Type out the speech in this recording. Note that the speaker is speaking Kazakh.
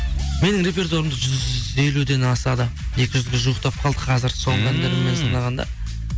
менің репертуарымда жүз елуден асады екі жүзге жуықтап қалды қазір соңғы әндеріммен санағанда